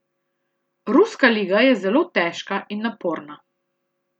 Ruska liga je zelo težka in naporna.